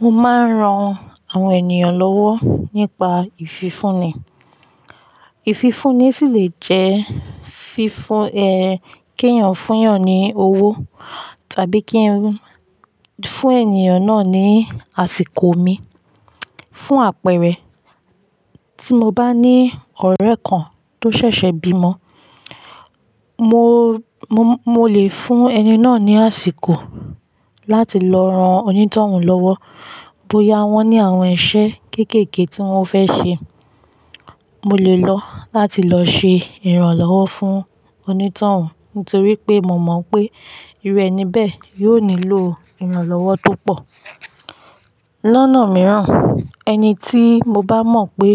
Mo máa ń ran àwọn ènìyàn lọ́wọ́ nípa ìfifúnni. Ìfifúnni sì lè jẹ́ fi fún ẹ kí èèyàn fún èèyàn ní owó tàbí kí ẹ fún èniyàn náà ní àsìkò mi, fún àpẹẹrẹ tí mo bá ní ọ̀rẹ́ kan tó ṣẹ̀ṣẹ̀ bímọ, mo, mo, mo lè fún ẹni náà ní àsìkò láti lọ ran onítọ̀hún lọ́wọ́. Bóyá wọ́n ní àwọn iṣẹ́ kéékèèké tí wọ́n fẹ́ ṣe, mo lè lọ láti lọ ṣe ìrànlọ́wọ́ fún onítọ̀hún nítorí pé mo mọ̀ pé irú ẹni bẹ́ẹ̀ yóò nílò ìrànlọ́wọ́ tó pọ̀. Lọ́nà mìíràn, ẹni tí mo bá mọ̀ pé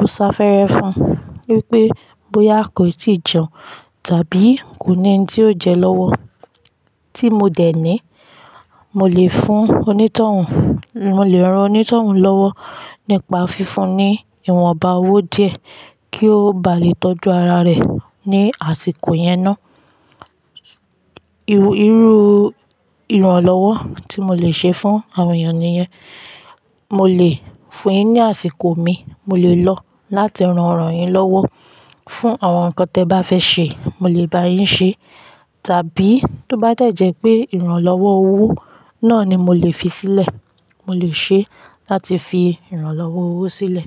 ó ń ṣàfẹ́rẹ fún, wípé bóyá kò tíì jẹun tàbí kò ní ẹni tí yóò jẹ lọ́wọ́ tí mo dẹ̀ ní, mo lè fún onítọ̀hún, mo lè ran onítọ̀hún lọ́wọ́ nípa fifúnni ìwọ̀nba owó díẹ̀ kí ó ba lè tọ́jú ara rẹ̀ ní àsìkò yẹn ná. Irú, irú ìrànlọ́wọ́ tí mo lè ṣe fún àwọn èèyàn ni yẹn. Mo lè fún yín ní àsìkò mí, mo lè lọ láti ran ọ̀rọ̀ yín lọ́wọ́, fún àwọn nǹkan tí ẹ̀ bá fẹ́ ṣe, mo lè bá yín ṣe. Tàbí tó bá dẹ̀jẹ́ pé ìrànlọ́wọ́ owó náà ni mo lè fi sílẹ̀, mo lè ṣe láti fi ìrànlọ́wọ́ owó sílẹ̀.